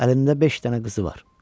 Əlində beş dənə qızı var.